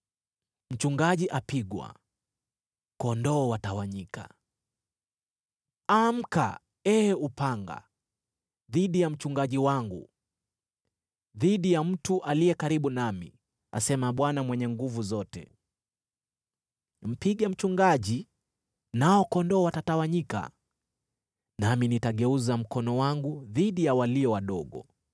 “Amka, ee upanga, dhidi ya mchungaji wangu, dhidi ya mtu aliye karibu nami!” asema Bwana Mwenye Nguvu Zote. “Mpige mchungaji, nao kondoo watatawanyika, nami nitageuza mkono wangu dhidi ya walio wadogo,